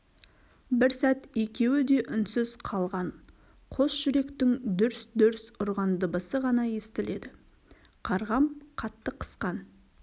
бір сәт екеуі де үнсіз қалған қос жүректің дүрс-дүрс ұрған дыбысы ғана естіледі қарғам қатты қысқан